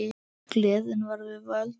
Gleðin var við völd.